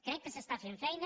crec que s’està fent feina